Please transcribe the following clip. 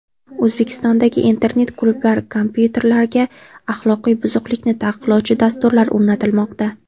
O‘zbekistondagi internet klublar kompyuterlariga axloqiy buzuqlikni taqiqlovchi dasturlar o‘rnatilmoqda.